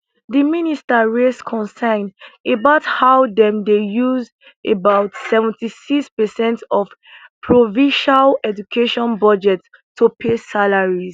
di minister raise concern about how dem dey use about 76 per cent of provincial education budgets to pay salaries